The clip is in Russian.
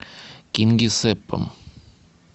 кингисеппом